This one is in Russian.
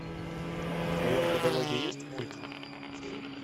в твоем каталоге есть мультик